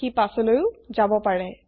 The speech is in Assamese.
সি পাছলৈও যাব পাৰে